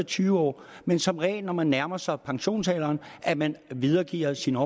tyve år men som regel når man nærmer sig pensionsalderen at man videregiver sine